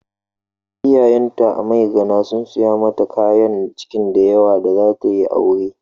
Iyayenta a Maigana sun saya mata kayan kicin da yawa da za ta yi aure.